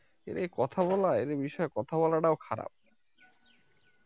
কথা বলা এদের বিষয়ে কথা বলাটাও খারাপ